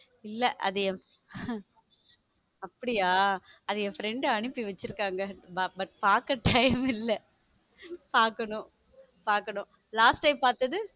இல்ல அது அப்படியா அது என் friend அனுப்பி வச்சிருக்காங்க but பாக்க time இல்ல பாக்கணும் பாக்கணும் last time பார்த்தது.